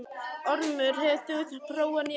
Ormur, hefur þú prófað nýja leikinn?